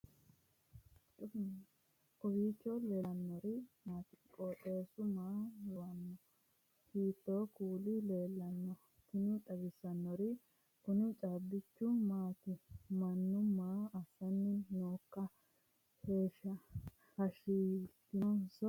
kowiicho leellannori maati ? qooxeessu maa lawaanno ? hiitoo kuuli leellanno ? tini xawissannori kuni caabbichu maati mannu maa assanni nooikka hashshaaatinso barraatikka